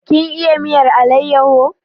Kin iya miyar alayyaho?